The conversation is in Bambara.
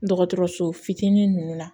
Dɔgɔtɔrɔso fitinin ninnu na